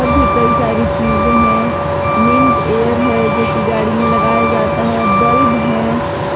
भी कई सारी चीजे हैं मिंट एयर है जोकि गाड़ी में लगाया जाता है बल्ब है।